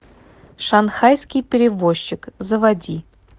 шанхайский перевозчик заводи